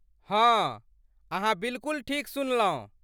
हँ, अहाँ बिलकुल ठीक सुनलहुँ।